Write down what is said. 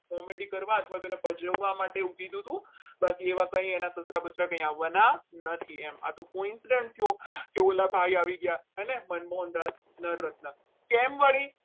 જવા માટે એને કહ્યું હતું બાકી એ વાતની એના સસરા કંઈ આવવાના નથી એમ આ તો કોઈ incidence થયો તે ઓલા ભાઈ આવી ગયા. હેને મનમોહનદાસ કેમ વળી